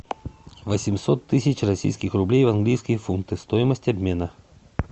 восемьсот тысяч российских рублей в английские фунты стоимость обмена